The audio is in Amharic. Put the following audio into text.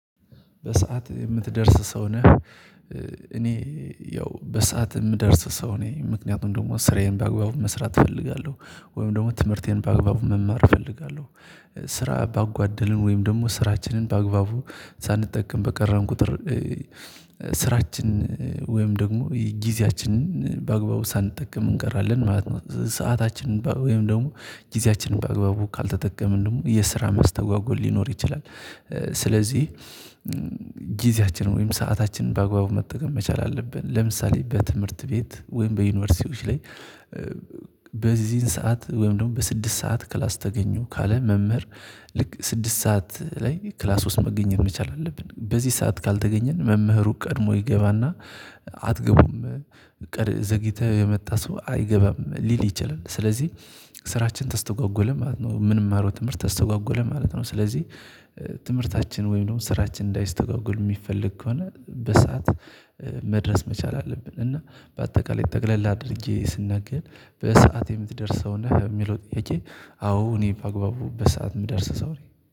"በሰአት የምትደርስ ሰው ነህ?" እኔ ያው በሰአት የምደርስ ሰው ነኝ። ምክንያቱም ደግሞ ስራዬን በአግባቡ መስራት እፈልጋለሁ፤ ወይም ደግሞ ትምህርቴን በአግባቡ መማር እፈልጋለሁ። ስራ ባጓደልን ወይም ደግሞ ስራችንን በአግባቡ ሳንጠቀም በቀረን ቁጥር ስራችን ወይም ደግሞ ጊዜያችንን በአግባቡ ሳንጠቀም እንቀራለን ማለት ነው። ሰአታችንን ወይም ደግሞ ጊዜያችንን በአግባቡ ካልተጠቀምን ደግሞ የስራ መስተጓጎል ሊኖር ይችላል። ስለዚህ ጊዜያችን ወይም ሰአታችንን በአግባቡ መጠቀም መቻል አለብን። ለምሳሌ በትምህርት ቤት ወይም በዩኒቨርሲቲዎች ላይ በዚህን ሰዓት ወይም ደግሞ በስድስት ሰዓት ክላስ ተገኙ ካለን መምህር፤ ልክ ስድስት ሰዓት ላይ ክላስ ውስጥ መገኘት መቻል አለብን። በዚህ ሰዓት ካልተገኘን መምህሩ ቀድሞ ይገባና አትገቡም ቀር ዘግይተህ የመጣ ሰው አይገባም ሊል ይችላል። ስለዚህ ስራችን ተስተጓጎለ ማለት ነው። ምንማረው ትምህርት ተስተጓጎለ ማለት ነው። ስለዚህ ትምህርታችን ወይም ደግሞ ስራችን እንዳይስተጓጎል የሚፈልግ ከሆነ በሰአት መድረስ መቻል አለብን፤ እና በአጠቃላይ ጠቅለላ አድርጌ ስናገር "በሰአት የምትደርስ ሰው ነህ?" ለሚለው ጥያቄ፤ አዎ እኔ በአግባቡ በሰአት የምደርስ ሰው ነኝ።